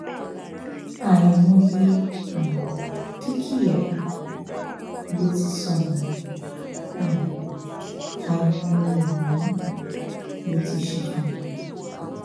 àìmọye um dúkìá ló ti sọnù um àìmọye ẹmí ló ti ṣòfò